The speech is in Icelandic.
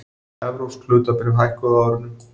Evrópsk hlutabréf hækkuðu á árinu